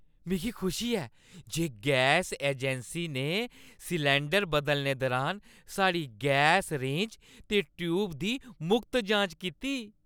मिगी खुशी ऐ जे गैस अजैंसी ने सलैंडर बदलने दुरान साढ़ी गैस रेंज ते ट्‌यूब दी मुख्त जांच कीती।